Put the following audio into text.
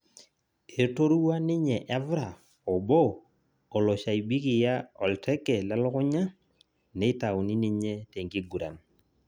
Etorua ninye Evra obo oloshaibikia olteke lelukunya neitauni ninye tenkiguran